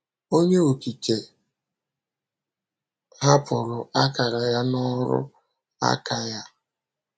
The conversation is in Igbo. Onye Okike hapụrụ akara ya n’ọrụ aka ya.